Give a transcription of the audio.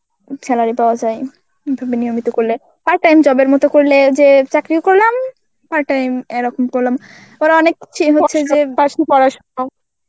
salary পাওয়া যায়. তুমি নিয়মিত করলে, part time job মতো করলে যে চাকরি ও করলাম part time এরকম করলাম. ওরা অনেক .